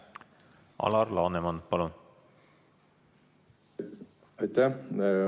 Alar Laneman, palun!